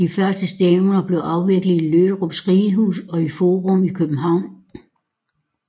De første stævner blev afviklet i Lørups Ridehus og i Forum i København